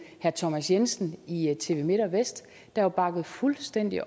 herre thomas jensen i tv midtvest der bakkede fuldstændig